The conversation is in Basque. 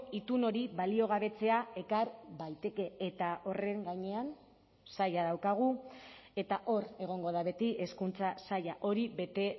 itun hori baliogabetzea ekar daiteke eta horren gainean zaila daukagu eta hor egongo da beti hezkuntza saila hori bete